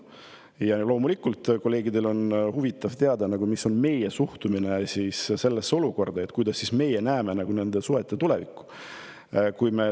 Loomulikult on kolleegidel huvitav teada, missugune on meie suhtumine sellesse olukorda ja kuidas meie näeme nende suhete tulevikku.